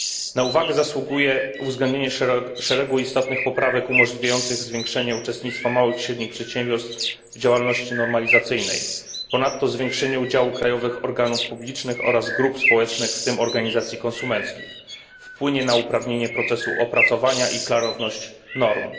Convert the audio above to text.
Na uwagę zasługuje uwzględnienie szeregu istotnych poprawek umożliwiających zwiększenie uczestnictwa małych i średnich przedsiębiorstw w działalności normalizacyjnej, ponadto zwiększenie udziału krajowych organów publicznych oraz grup społecznych, w tym organizacji konsumenckich wpłynie na usprawnienie procesu opracowania i klarowności norm.